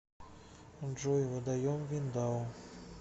джой водоем виндау